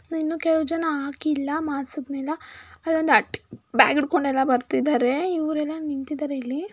ಇನ್ನು ಕೆಲವು ಜನ ಹಾಕಿಲ್ಲ ಮಾಸ್ಕನೆಲ್ಲ ಅಲ್ಲೊಂದ್ ಆಂಟಿ ಬ್ಯಾಗ್ ಹಿಡ್ಕೊಂಡೆಲ್ಲಾ ಬರ್ತಿದ್ದಾರೆ ಇವ್ರೆಲ್ಲಾ ನಿಂತಿದ್ದಾರೆ ಇಲ್ಲಿ.